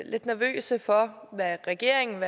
lidt nervøse for hvad regeringen